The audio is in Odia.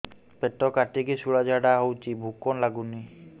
ପେଟ କାଟିକି ଶୂଳା ଝାଡ଼ା ହଉଚି ଭୁକ ଲାଗୁନି